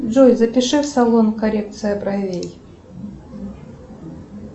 джой запиши в салон коррекция бровей